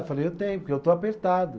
Eu falei, eu tenho, porque eu estou apertado.